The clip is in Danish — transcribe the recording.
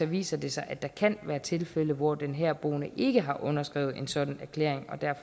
viser sig at der kan være tilfælde hvor den herboende ikke har underskrevet en sådan erklæring